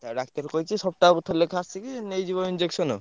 ଆଉ ଡାକ୍ତର କହିଛି ସପ୍ତାହକୁ ଥରେ ଲେଖା ଆସିକି ନେଇ ଯିବ injection ଆଉ।